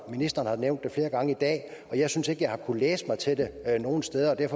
ministeren nævnt det flere gange i dag og jeg synes ikke jeg kunne læse mig til det nogen steder at jeg